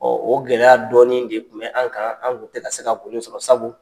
o gɛlɛya dɔɔnin de tun bɛ an kan an tun tɛ ka se ka sɔrɔ sabu